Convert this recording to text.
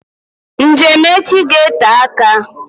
Njem echi ga-ete aka